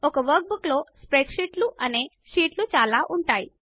ఒక వర్క్బుక్లో స్ప్రెడ్షీట్స్ అనే షీట్స్ చాలా ఉంటాయి